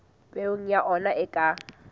peo ya ona e ka